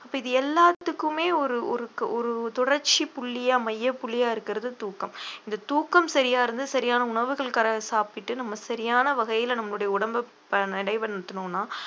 அப்ப இது எல்லாத்துக்குமே ஒரு ஒரு ஒரு தொடர்ச்சி புள்ளிய மைய புள்ளிய இருக்கிறது தூக்கம் இந்த தூக்கம் சரியா இருந்து சரியான உணவுகள் கர~ சாப்பிட்டு நம்ம சரியான வகையில நம்முடைய உடம்பு ப~